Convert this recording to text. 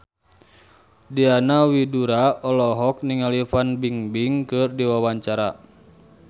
Diana Widoera olohok ningali Fan Bingbing keur diwawancara